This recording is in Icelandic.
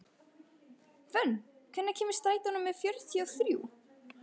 Fönn, hvenær kemur strætó númer fjörutíu og þrjú?